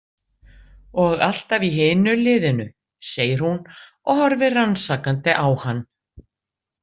Og alltaf í hinu liðinu, segir hún og horfir rannsakandi á hann.